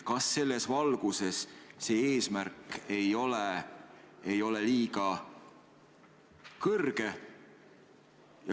Kas selles valguses see eesmärk ei ole liiga kõrge?